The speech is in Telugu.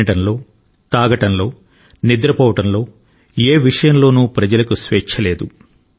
తినడంలో తాగడంలో నిద్రపోవడంలో ఏ విషయంలోనూ ప్రజలకు స్వేచ్ఛ లేదు